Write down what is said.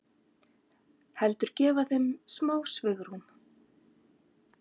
Heldur gefa þeim smá svigrúm.